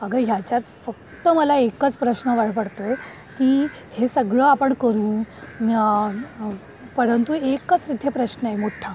अग याच्यात फक्त मला एकच प्रश्न पडतोय की हे सगळं आपण करू परंतु एकच इथे प्रश्नय मोठा.